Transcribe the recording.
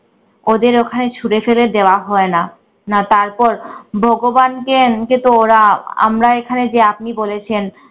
ওদের ওখানে ছুড়ে ফেলে দেওয়া হয় না, না তারপর ভগবানকে এমনিতে তো ওরা আমরা এখানে যে আপনি বলেছেন